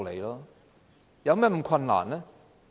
有甚麼困難呢？